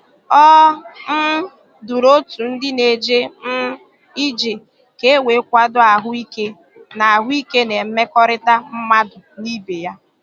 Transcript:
O um duru otu ndị na-eje um ije ka e wee kwado ahụ ike na ahụ ike na mmekọrịta mmadụ na ibe ya